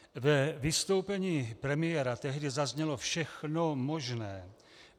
Ve vystoupení premiéra tehdy zaznělo všechno možné.